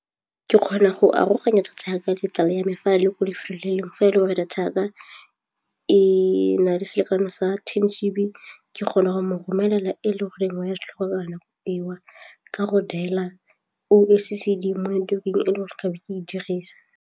Ke kgona go aroganya data ya ka le tsala ya me fa a le ko lefelong fa e le gore data ya ka e na le selekano sa be ke kgona go mo romelela e le goreng wa eo ka go dial-a oh S_E_C_D mo e le gore ke be ke e dirisa.